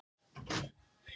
"""Jæja, hvað um það."""